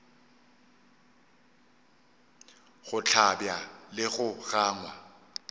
go hlabja le go gangwa